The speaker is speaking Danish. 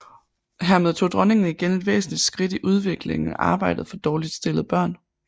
Hermed tog Dronningen igen et væsentligt skridt i udviklingen af arbejdet for dårligt stillede børn